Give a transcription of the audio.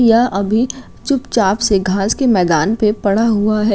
यह अभी चुपचाप से घास के मैदान पे पढ़ा हुआ है।